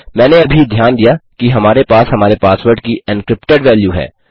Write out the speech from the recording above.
मैंने अभी ध्यान दिया कि हमारे पास हमारे पासवर्ड की एनक्रिप्टेड वैल्यू है